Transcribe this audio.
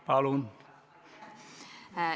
Palun!